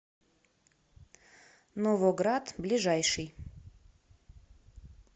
новоград ближайший